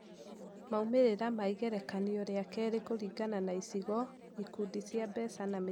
Maumĩrĩra ma igerekanio rĩa keerĩ kũringana na icigo, ikundi cia mbeca na mĩthemba ya ngombo